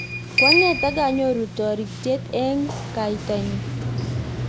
koang'et akanyoru toritye eng' kaitanyu